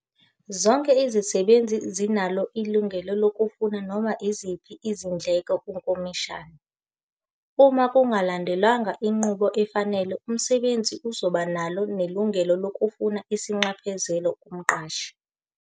Zonke izisebenzi zinalo ilungelo lokufuna noma iziphi izindleko kuNkomishani. Uma kungalandelwanga inqubo efanele umsebenzi uzoba nelungelo lokufuna isinxephezelo kumqashi.